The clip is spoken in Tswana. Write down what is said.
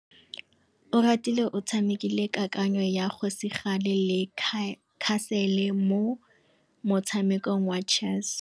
Oratile o tshamekile kananyô ya kgosigadi le khasêlê mo motshamekong wa chess.